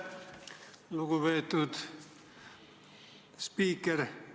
Lugupeetud spiiker!